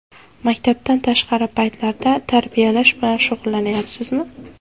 Maktabdan tashqari paytlarda tarbiyalash bilan shug‘ullanyapsizmi?